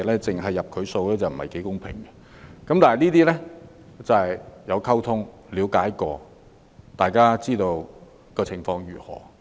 凡此種種的事情，大家需要溝通和了解才知道情況如何。